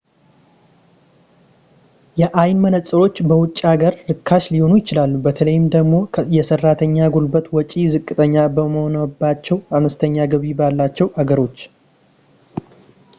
የአይን መነፅሮች በውጭ ሀገር ርካሽ ሊሆኑ ይችላሉ በተለይ ደግሞ የሰራተኛ ጉልበት ወጪ ዝቅተኛ በሆነባቸው አነስተኛ ገቢ ባላቸው ሀገሮች